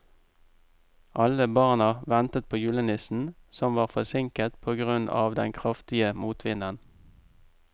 Alle barna ventet på julenissen, som var forsinket på grunn av den kraftige motvinden.